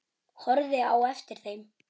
Horfði á eftir þeim.